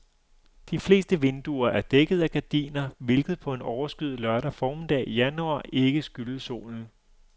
De fleste vinduer er dækket af gardiner, hvilket på en overskyet lørdag formiddag i januar ikke skyldes solen.